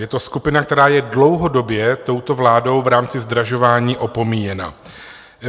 Je to skupina, která je dlouhodobě touto vládou v rámci zdražování opomíjena.